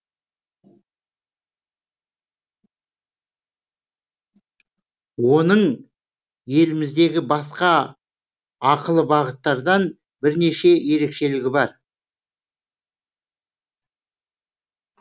оның еліміздегі басқа ақылы бағыттардан бірнеше ерекшелігі бар